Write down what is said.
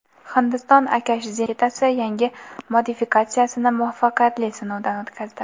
Hindiston Akash zenit raketasi yangi modifikatsiyasini muvaffaqiyatli sinovdan o‘tkazdi.